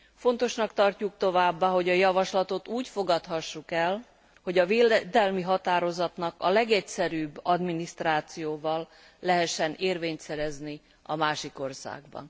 Fontosnak tartjuk továbbá, hogy a javaslatot úgy fogadhassuk el, hogy a védelmi határozatnak a legegyszerűbb adminisztrációval lehessen érvényt szerezni a másik országban.